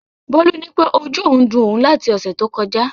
Bólú nípé ojú òun ń dun òun láti ọ̀sẹ̀ tó kọjá